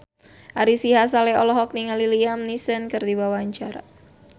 Ari Sihasale olohok ningali Liam Neeson keur diwawancara